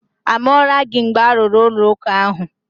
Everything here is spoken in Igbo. A mụọla gị mgbe a rụrụ ụlọụka ahụ?